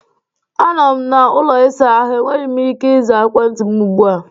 Anọ m na ụlọ ịsa ahụ, enweghị m ike ịza ekwentị m ugbu a